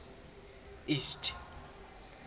east